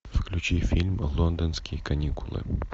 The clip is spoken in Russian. включи фильм лондонские каникулы